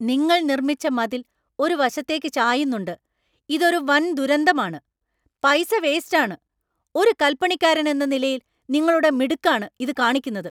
നിങ്ങൾ നിർമ്മിച്ച മതിൽ ഒരു വശത്തേക്ക് ചായുന്നുണ്ട്, ഇത് ഒരു വന്‍ ദുരന്തമാണ്, പൈസ വേസ്റ്റ് ആണ്, ഒരു കല്‍പണിക്കാരന്‍ എന്ന നിലയില്‍ നിങ്ങളുടെ മിടുക്ക് ആണ് ഇത് കാണിക്കുന്നത്.